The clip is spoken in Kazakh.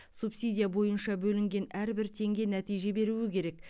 субсидия бойынша бөлінген әрбір теңге нәтиже беруі керек